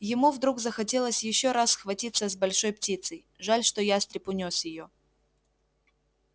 ему вдруг захотелось ещё раз схватиться с большой птицей жаль что ястреб унёс её